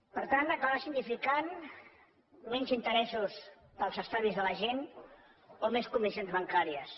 per tant acabarà significant menys interessos per als estalvis de la gent o més comissions bancàries